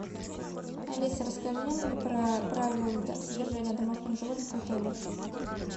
алиса расскажи мне про правила содержания домашних животных в отеле